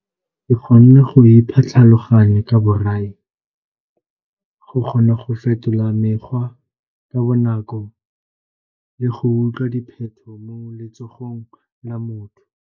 Ke kgonne go ipha tlhaloganyo ka borai, go kgona go fetola mekgwa ka bonako le go utlwa dipheto mo letsogong la motho.